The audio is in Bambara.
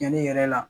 Yanni i yɛrɛ la